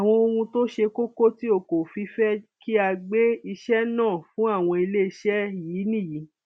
àwọn ohun tó ṣe kókó tí o kò fi fẹ kí a gbé iṣẹ náà fún àwọn iléeṣẹ yìí nìyí